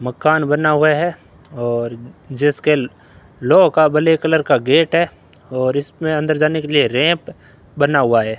मकान बना हुआ है और जिसके लोहो का ब्लैक कलर का गेट है और इसमें अंदर जाने के लिए रैंप बना हुआ है।